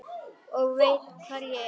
Og veit hvar ég er.